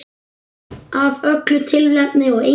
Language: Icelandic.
Af öllu tilefni og engu.